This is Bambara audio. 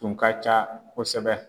Tun ka ca kosɛbɛ